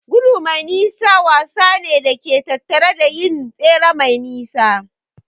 Gudu mai nisa wasa ne da ke tattare da yin tsere mai nisa.